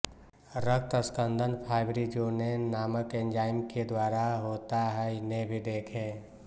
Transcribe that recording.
रक्त स्कंदन फाइब्रिनोजेन नामक एंजाइम केद्वारा होता हैइन्हें भी देखें